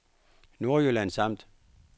Nordjyllands Amt